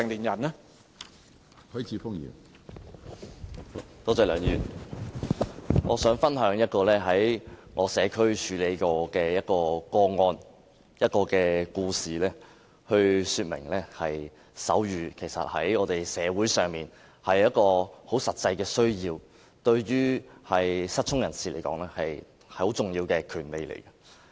我想分享一宗我在社區處理過的個案，用一個故事來說明，手語在社會上其實是有很實際的需要的，而對於失聰人士來說，手語也是很重要的權利。